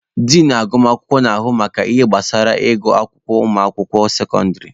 Din agụmakwụkwọ na-ahụ maka ihe gbasara ịgụ akwụkwọ ụmụaka sekọndịrị.